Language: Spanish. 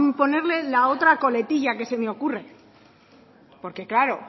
ponerle la otra coletilla que se me ocurre porque claro